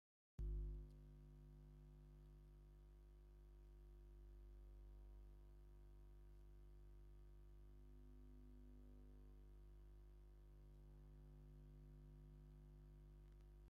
ካብ ቆርቆሮን ካብ ዕንጨይቲ ዝተሰረሐ ገዛ ኮይኑ ኣብ ማእከል ዒዳጋ ዝርከብ ኮይኑ እቱይ ተንጠልጢሉ ዘሎ ደቂ ኣንስትዮ ዝገብርኦ ኮይነን እንታይ ይብሃል ሽሙ?